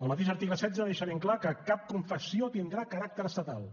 el mateix article setze deixa ben clar que cap confessió tindrà caràcter estatal